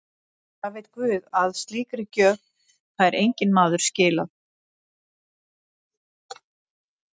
Og það veit guð að slíkri gjöf fær enginn maður skilað.